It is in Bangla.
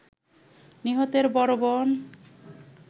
নিহতের বড় বোন